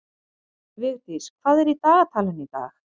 Vigdís, hvað er í dagatalinu í dag?